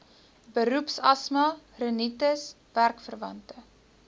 beroepsasma rinitis werkverwante